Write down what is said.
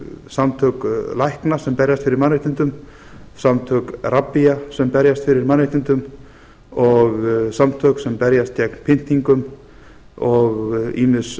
samtök lækna sem berjast fyrir mannréttindum samtök rabbía sem berjast fyrir mannréttindum og samtök sem berjast gegn pyntingum og ýmis